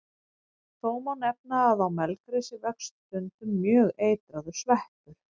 Þó má nefna að á melgresi vex stundum mjög eitraður sveppur.